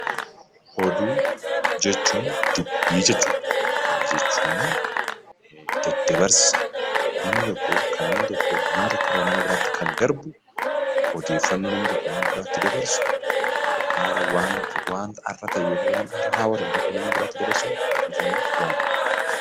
Oduu jechuun dubbii jechuudha. Kana jechuun daddabarsa namni tokko kan namni nama tokko irraa nama biraatti kan darbu, odeeffannoo namni tokko nama biraatti dabarsu, waanta haarawaa tokko nama biraatti dabarsu oduu jennee waamna.